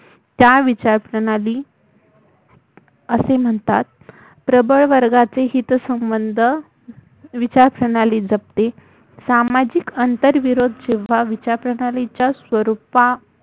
त्याला विचारप्रणाली असे म्हणतात प्रबळ वर्गाचे हितसंबंध विचारप्रणाली जपते सामाजिक आंतरविरोध जेव्हा विचारप्रणालीच्या स्वरूपा